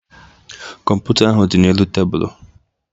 Kọmputa ahụ dị n'elu tebụlụ